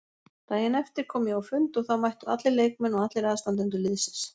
Daginn eftir kom ég á fund og þá mættu allir leikmenn og allir aðstandendur liðsins.